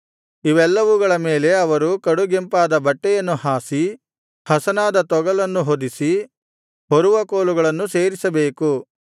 ಇವೆಲ್ಲವುಗಳ ಮೇಲೆ ಅವರು ಕಡುಗೆಂಪಾದ ಬಟ್ಟೆಯನ್ನು ಹಾಸಿ ಹಸನಾದ ತೊಗಲನ್ನು ಹೊದಿಸಿ ಹೊರುವ ಕೋಲುಗಳನ್ನು ಸೇರಿಸಬೇಕು